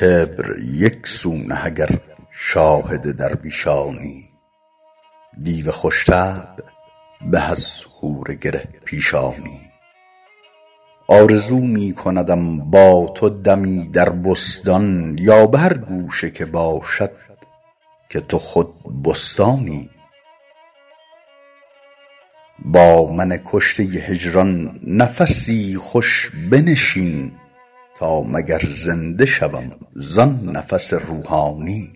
کبر یک سو نه اگر شاهد درویشانی دیو خوش طبع به از حور گره پیشانی آرزو می کندم با تو دمی در بستان یا به هر گوشه که باشد که تو خود بستانی با من کشته هجران نفسی خوش بنشین تا مگر زنده شوم زآن نفس روحانی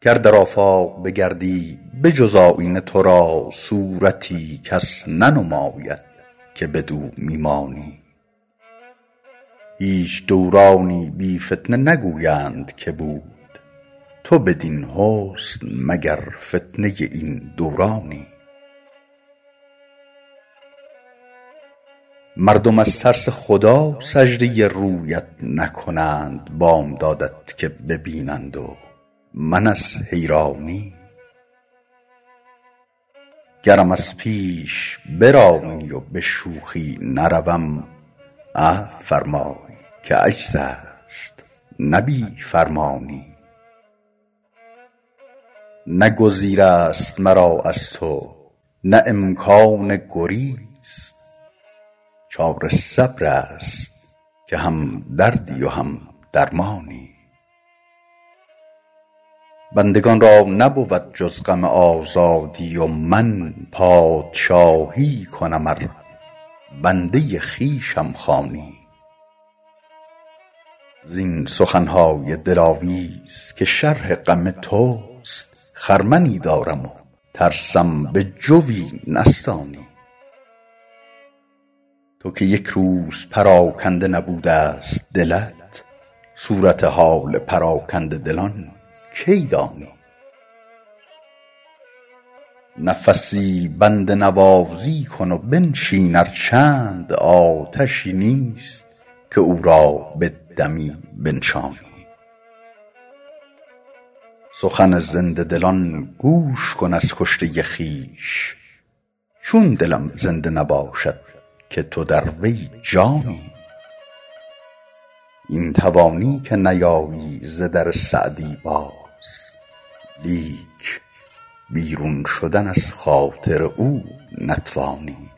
گر در آفاق بگردی به جز آیینه تو را صورتی کس ننماید که بدو می مانی هیچ دورانی بی فتنه نگویند که بود تو بدین حسن مگر فتنه این دورانی مردم از ترس خدا سجده رویت نکنند بامدادت که ببینند و من از حیرانی گرم از پیش برانی و به شوخی نروم عفو فرمای که عجز است نه بی فرمانی نه گزیر است مرا از تو نه امکان گریز چاره صبر است که هم دردی و هم درمانی بندگان را نبود جز غم آزادی و من پادشاهی کنم ار بنده خویشم خوانی زین سخن های دلاویز که شرح غم توست خرمنی دارم و ترسم به جوی نستانی تو که یک روز پراکنده نبوده ست دلت صورت حال پراکنده دلان کی دانی نفسی بنده نوازی کن و بنشین ار چند آتشی نیست که او را به دمی بنشانی سخن زنده دلان گوش کن از کشته خویش چون دلم زنده نباشد که تو در وی جانی این توانی که نیایی ز در سعدی باز لیک بیرون روی از خاطر او نتوانی